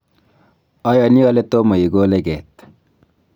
ayani ale tomo igole ket